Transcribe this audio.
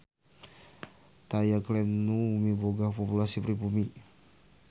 Taya klaim nu miboga populasi pribumi.